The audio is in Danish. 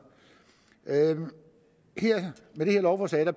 med det her lovforslag